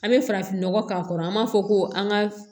An bɛ farafinnɔgɔ k'a kɔrɔ an b'a fɔ ko an ka